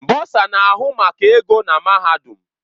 Bọsa na-ahụ maka ego na mahadum.